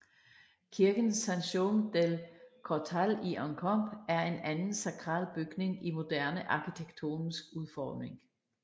Kirken Sant Jaume dels Cortals i Encamp er en anden sakral bygning i moderne arkitektonisk udformning